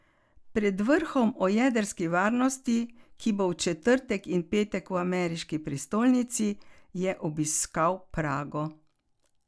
Pred vrhom o jedrski varnosti, ki bo v četrtek in petek v ameriški prestolnici, je obiskal Prago.